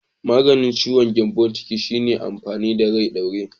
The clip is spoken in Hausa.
Maganin ciwon gyambon ciki na shine amfani da rai ɗaure.